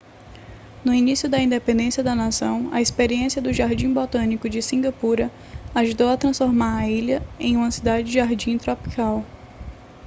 no início da independência da nação a experiência do jardim botânico de cingapura ajudou a transformar a ilha em uma cidade-jardim tropical